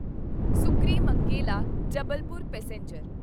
Sukrimangela Jabalpur passenger